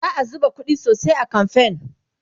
za'a zuba ƙuɗi sosai a kamfen